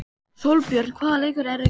Sólbjörn, hvaða leikir eru í kvöld?